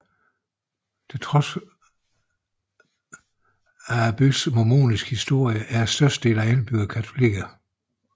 På trods af byens mormonske historie er størstedelen af indbyggerne katolikker